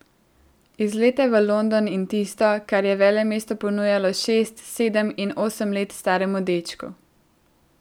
Izlete v London in tisto, kar je velemesto ponujalo šest, sedem in osem let staremu dečku.